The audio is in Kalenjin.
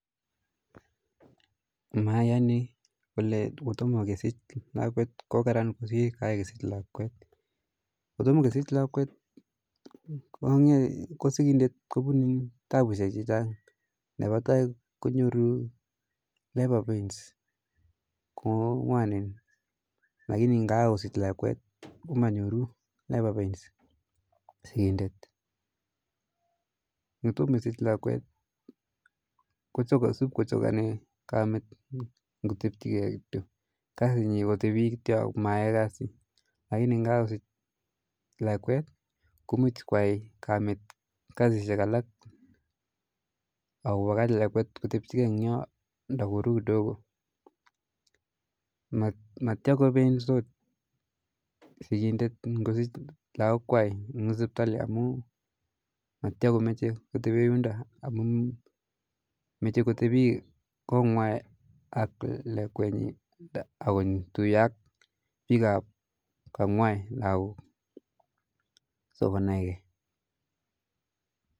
Mayani kole kotomo kesich lakwet ko karam kosir kakesich lakwet, kotoma kesich lakwet ko sikindet kupune tapusech chechang' nepa tai konyoru labour pains ko ngwanen lakini kakosich lakwet manyoru, ngotoma kosich lakwet kosup kochokani kamit ngotebi kityo, kasi nyi kotebi kityo ak mayae kasi lakini kosich lakwet muj koai kasishek alak ako kopakach lakwet kotepi kityo eny yoo nda koru kidogo eng yoo, matyaa kopensot sikindet kosich lakok kwai eng sipitali amu matya komeche kotepee yundo amu meche kotepee kotngwai ak lekwet nyi akotuyo ak bik ap kangwai lakok sokonaike